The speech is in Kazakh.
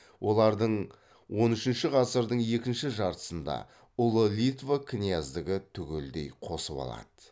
оларды он үшінші ғасырдың екінші жартысында ұлы литва князьдігі түгелдей қосып алады